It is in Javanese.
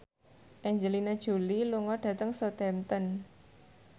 Angelina Jolie lunga dhateng Southampton